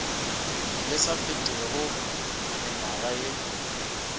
le sa fetego mengwaga ye